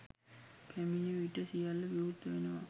පැමිණි විට සියල්ල විවෘත වෙනවා.